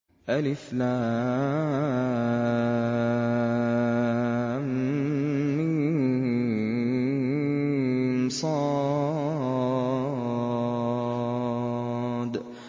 المص